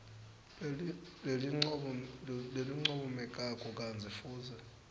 lelincomekako kantsi futsi